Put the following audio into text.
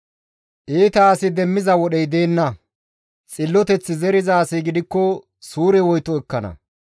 Iita asi demmiza wodhey deenna; xilloteth zeriza asi gidikko suure woyto ekkana.